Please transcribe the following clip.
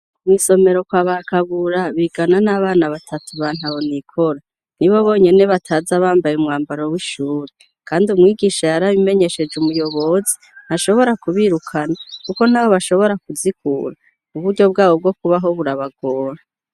Mwisomero kwa KABURA bigana n' abana batatu ba ntahonikora nibo bonyene bataza bambaye umwambaro w' ishuri kandi umwigisha yarabimenyesheje umuyobozi ntashobora kubirukana kuko ntaho bashobora kuzikura uburyo bwabo bwo kubaho burabagora.